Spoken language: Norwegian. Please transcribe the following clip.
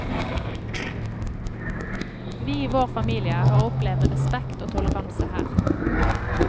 Vi i vår familie har opplevd respekt og toleranse her.